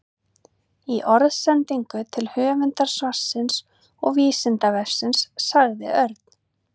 Í orðsendingu til höfundar svarsins og Vísindavefsins sagði Örn: